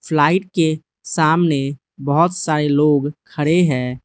Flight के सामने बहोत सारे लोग खड़े है।